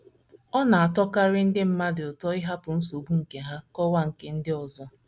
Ọ na - atọkarị ndị mmadụ ụtọ ịhapụ nsogbu nke ha kọwa nke ndị ọzọ. ”